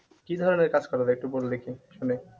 কি ধরনের কাজ করা যায় একটু বল দেখি শুনি